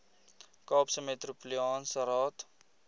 kaapse metropolitaanse raad